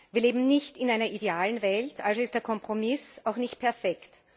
Wir leben nicht in einer idealen Welt, also ist der Kompromiss auch nicht perfekt.